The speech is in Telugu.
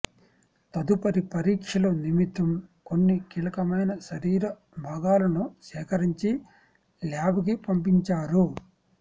తదుపరి పరీక్షల నిమిత్తం కొన్ని కీలకమైన శరీర భాగాలను సేకరించి ల్యాబ్కు పంపించారు